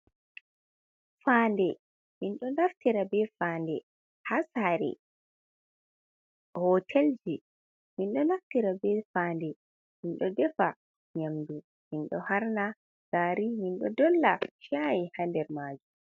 Fande minɗo naftira be fande ha sare, hotelji, minɗo naftira be fande minɗo defa nyamdu, minɗo harna gari, minɗo dolla shayi ha nder majum.